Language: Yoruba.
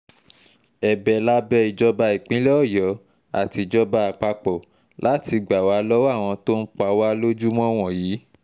ẹ̀bẹ̀ la bẹ ìjọba ìpínlẹ̀ ọ̀yọ́ àtijọba àpapọ̀ láti gbà wá lọ́wọ́ àwọn tó ń pa wá lójúmọ́ wọ̀nyí